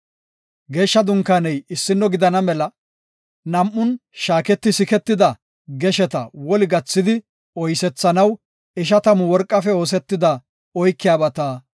Geeshsha Dunkaaney issino gidana mela nam7un shaaketi siketida gesheta woli gathidi oysethanaw, ishatamu worqafe oosetida oykiyabata ootha.